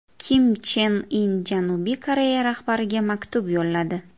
Kim Chen In Janubiy Koreya rahbariga maktub yo‘lladi.